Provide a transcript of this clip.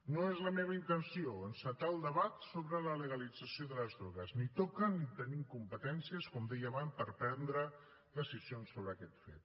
no és la meva intenció encetar el debat sobre la legalització de les drogues ni toca ni tenim competències com deia abans per prendre decisions sobre aquest fet